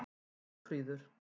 Jófríður